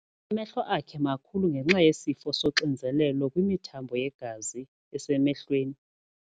Amehlo akhe makhulu ngenxa yesifo soxinzelelo kwimithambo yegazi esemehlweni.